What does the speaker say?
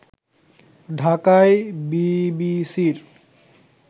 ঢাকায় বিবিসির